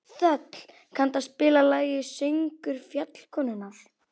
Þöll, kanntu að spila lagið „Söngur fjallkonunnar“?